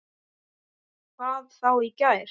Hvað þá í gær.